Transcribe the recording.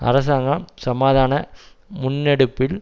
அரசாங்கம் சமாதான முன்னெடுப்பில்